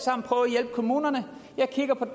hjælpe kommunerne jeg kigger på